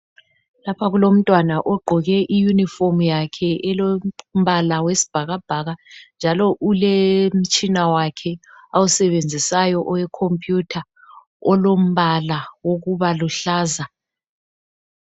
Lapha kulomntwana ogqoke iyunifomu yakhe elombala wesibhakabhaka njalo ulemtshina wakhe awusebenzisayo owekhompuyutha olombala okubaluhlaza.